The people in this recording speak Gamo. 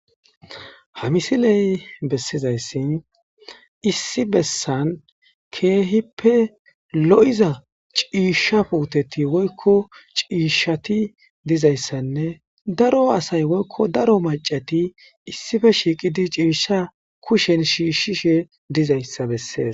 Ha misileybessizayssi issi bessan keehipe lo'iza ciishsha woyko ciishsha puuteti dizaysanne daro maccashat ciishshaba kushen shiishishe dizaysa besees.